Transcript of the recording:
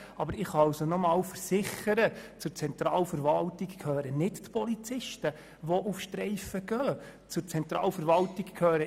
Doch ich kann Ihnen versichern, dass die Polizisten, die auf Streife gehen, nicht zur Zentralverwaltung gehören.